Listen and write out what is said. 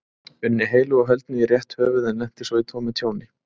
unni heilu og höldnu í rétt höfuð en lenti svo í tómu tjóni.